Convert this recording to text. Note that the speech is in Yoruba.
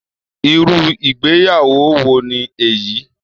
Irú ìgbéyàwó wo ni èyí!